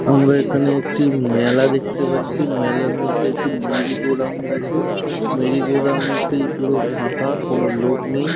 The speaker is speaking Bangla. আমরা এখানে একটি মেলা দেখতে পাচ্ছি। মেলার মধ্যে একটি মেরি গো রাউন্ড আছে। মেরি গো রাউন্ড টি পুরো ফাঁকা কোনো লোক নেই।